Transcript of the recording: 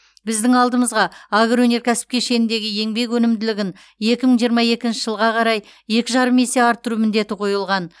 біздің алдымызға агроөнеркәсіп кешеніндегі еңбек өнімділігін екі мың жиырма екінші жылға қарай екі жарым есе арттыру міндеті қойылған